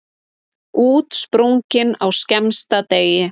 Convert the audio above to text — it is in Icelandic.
Útsprungin á skemmsta degi.